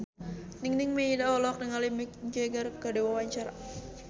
Nining Meida olohok ningali Mick Jagger keur diwawancara